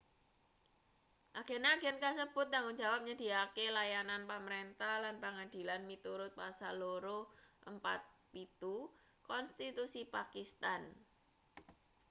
agen-agen kasebut tanggung jawab nyedhiyakake layanan pamrentah lan pangadilan miturut pasal 247 konstitusi pakistan